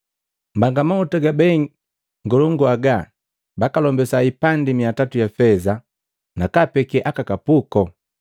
“Mbanga mahuta gabei ngolongu aga bakalombisa hipati mia tatu ya feza, nakaapeke aka kapuko?”